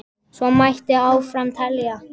Svo mætti áfram telja.